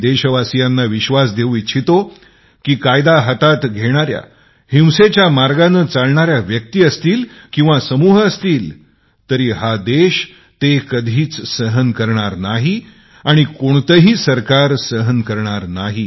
मी देशवासीयांना विश्वास देऊ इच्छितो की कायदा हातात घेणारे हिंसेच्या मार्गानी दमण करणाऱ्या जरी त्या व्यक्ती असतील किंवा समूह असतील हा देश कधीच सहन करणार नाही आणि कोणतेही सरकार सहन करणार नाही